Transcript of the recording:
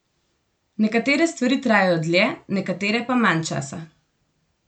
Nekatere stvari trajajo dlje, nekatere pa manj časa.